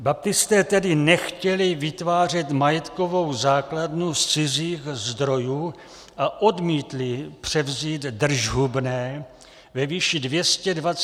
Baptisté tedy nechtěli vytvářet majetkovou základnu z cizích zdrojů a odmítli převzít držhubné ve výši 227 milionů korun.